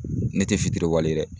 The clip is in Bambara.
Ne te fitiri wale ye dɛ.